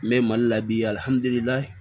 N bɛ mali la bi